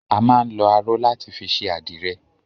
A máa ń lọ aró láti fi ṣe àdìrẹ.